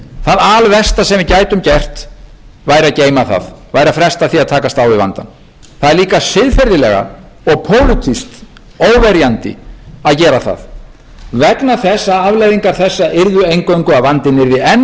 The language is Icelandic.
það alversta sem við gætum gert væri að geyma það væri að fresta því að takast á við vandann það er líka siðferðilega og pólitískt óverjandi að gera það vegna þess að afleiðingar þessa yrðu einvörðungu að vandinn yrði enn